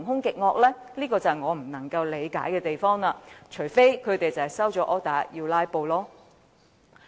這是我不能理解的地方，除非他們收了 order 要"拉布"。